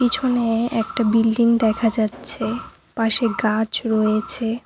পিছনে-এ একটা বিল্ডিং দেখা যাচ্ছে পাশে গাছ রয়েছে।